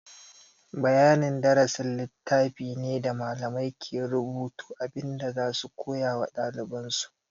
Bayanin darasi littafi ne da malamai ke rubuta abin da za su koya wa ɗaliban su.